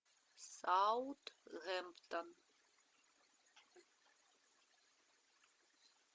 саутгемптон